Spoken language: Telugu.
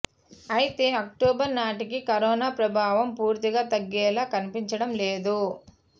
అయితే అక్టోబర్ నాటికి కరోనా ప్రభావం పూర్తిగా తగ్గేలా కనిపించడం లేదు